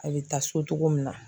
A bɛ taa so togo min na.